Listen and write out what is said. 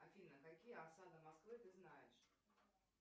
афина какие осады москвы ты знаешь